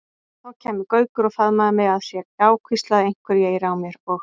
Þá kæmi Gaukur og faðmaði mig að sér, já hvíslaði einhverju í eyra mér og.